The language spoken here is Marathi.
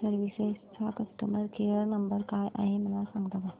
सर्विसेस चा कस्टमर केयर नंबर काय आहे मला सांगता का